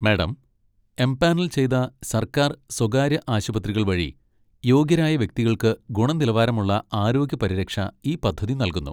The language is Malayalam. മാഡം, എംപാനൽ ചെയ്ത സർക്കാർ, സ്വകാര്യ ആശുപത്രികൾ വഴി യോഗ്യരായ വ്യക്തികൾക്ക് ഗുണനിലവാരമുള്ള ആരോഗ്യ പരിരക്ഷ ഈ പദ്ധതി നൽകുന്നു.